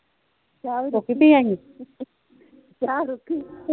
ਚਾਹ ਰੁਖੀ